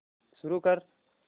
सुरू कर